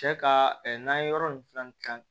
Cɛ ka n'an ye yɔrɔ nin filannan kalan